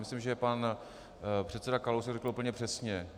Myslím, že pan předseda Kalousek to řekl úplně přesně.